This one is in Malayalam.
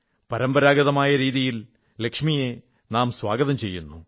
പരമ്പരാഗതമായ രീതിയിൽ ലക്ഷ്മി സ്വാഗതം ചെയ്യപ്പെടുന്നു